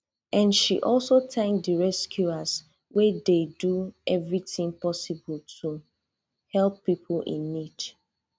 and she also tank di rescuers wey dey do evritin possible to help pipo in need